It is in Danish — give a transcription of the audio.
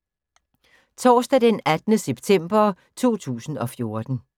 Torsdag d. 18. september 2014